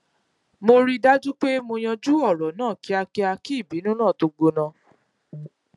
mo rí i dájú pé mo yanjú òrò náà kíákíá kí ìbínú náà tó gbóná